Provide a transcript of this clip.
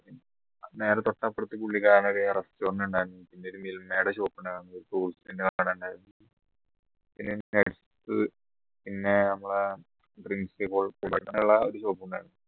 നേരെ തൊട്ടപ്പുറത്തെ പുള്ളിക്കാരൻ restaurant ഉണ്ടായിരുന്നു ഒരു fruits ന്റെ കട പിന്നെ നമ്മളെ